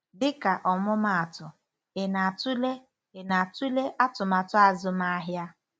Dịka ọmụmaatụ, ị na-atụle ị na-atụle atụmatụ azụmahịa?